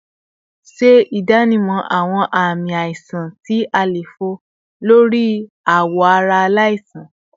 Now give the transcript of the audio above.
Ṣe idanimọ awọn aami aisan ti àléfọ lori awọ ara alaisan